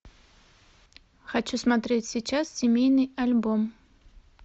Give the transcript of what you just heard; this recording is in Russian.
хочу смотреть сейчас семейный альбом